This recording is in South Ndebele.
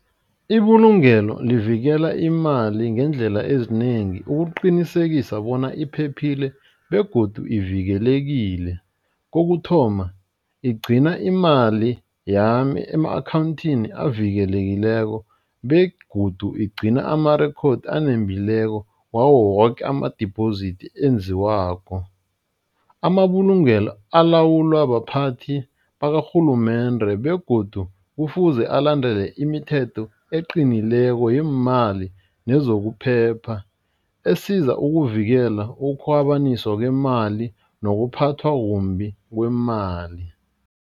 Ibulungelo livikela imali ngeendlela ezinengi ukuqinisekisa bona iphephile begodu ivikelekile, kokuthoma igcina imali yami ema-akhawundini avikelekileko begodu igcina amarekhodi enembileko wawo woke ama-deposit enziwako. Amabulungelo alawulwa baphathi bakarhulumende begodu kufuze alandele imithetho eqinileko yeemali nezokuphepha esiza ukuvikela ukukhwabaniswa kwemali nokuphathwa kumbi kwemali.